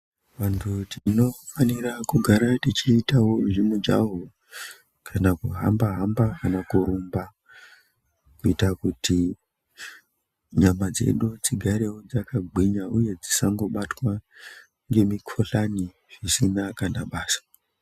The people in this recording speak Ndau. Vantu tinofanira kugara tichiitawo zvemujaho, kana kuhambahamba kana kurumba. Kuita kuti nyama dzedu dzigarewo dzakagwinya uye dzisangobatwa ngemikohlani zvisina kana basa.